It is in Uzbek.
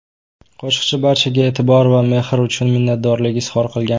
Qo‘shiqchi barchaga e’tibor va mehr uchun minnatdorlik izhor qilgan.